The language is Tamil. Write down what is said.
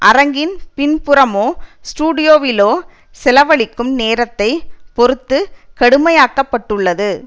அரங்கின் பின்புறமோ ஸ்டூடியோவிலோ செலவழிக்கும் நேரத்தை பொறுத்து கடுமையாக்கப்பட்டுள்ளது